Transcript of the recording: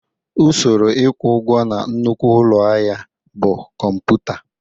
Usoro ịkwụ ụgwọ na nnukwu ụlọ ahịa bụ kọmputa